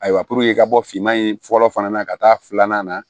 Ayiwa puruke ka bɔ finman in fɔlɔ fana na ka taa filanan na